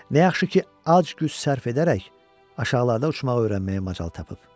Nə yaxşı ki, az güc sərf edərək aşağılarda uçmağı öyrənməyə macal tapıb.